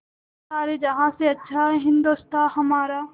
सारे जहाँ से अच्छा हिन्दोसिताँ हमारा